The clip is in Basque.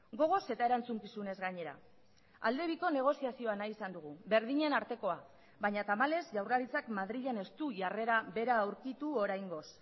gogoz eta erantzukizunez gainera alde biko negoziazioa nahi izan dugu berdinen artekoa baina tamalez jaurlaritzak madrilen ez du jarrera bera aurkitu oraingoz